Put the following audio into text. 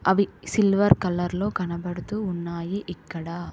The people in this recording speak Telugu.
అవి సిల్వర్ కలర్ లో కనపడుతూ ఉన్నాయి ఇక్కడా.